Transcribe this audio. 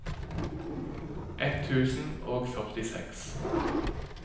ett tusen og førtiseks